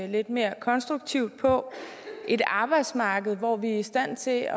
lidt mere konstruktivt på et arbejdsmarked hvor vi er i stand til at